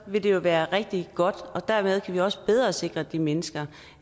vil jo være rigtig godt og dermed kan vi også bedre sikre de mennesker